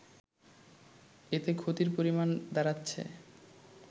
এতে ক্ষতির পরিমাণ দাড়াচ্ছে